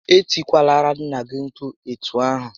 E tikwalara nnà gị mkpu etu ahụ!